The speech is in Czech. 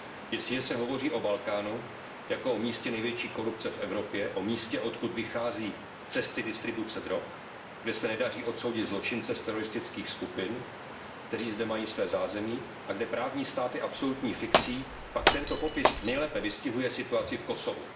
Jestliže se hovoří o Balkánu jako o místě největší korupce v Evropě, o místě, odkud vychází cesty distribuce drog, kde se nedaří odsoudit zločince z teroristických skupin, kteří zde mají své zázemí, a kde právní stát je absolutní fikcí, pak tento popis nejlépe vystihuje situaci v Kosovu.